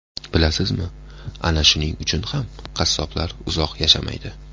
Bilasizmi, ana shuning uchun ham qassoblar uzoq yashamaydi.